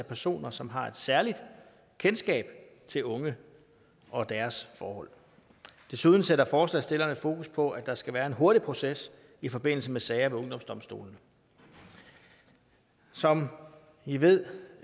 personer som har et særligt kendskab til unge og deres forhold desuden sætter forslagsstillerne fokus på at der skal være en hurtig proces i forbindelse med sager ved ungdomsdomstolene som i ved